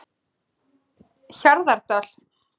Hjarðardal